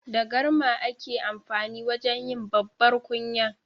Da garma ake amfani wajen yi babbar kunya.